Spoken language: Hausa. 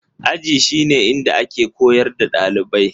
Aji shi ne inda ake koyar da ɗalibai